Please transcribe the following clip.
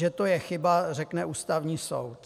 Že to je chyba, řekne Ústavní soud.